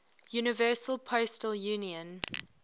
universal postal union